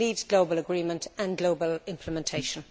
We need global agreement and global implementation.